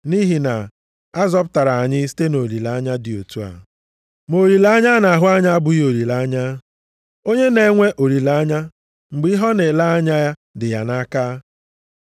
Nʼihi na a zọpụtara anyị site nʼolileanya dị otu a. Ma olileanya a na-ahụ anya abụghị olileanya. Onye na-enwe olileanya mgbe ihe ọ na-ele anya ya dị ya nʼaka?